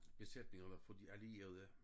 Besætningerne på de allierede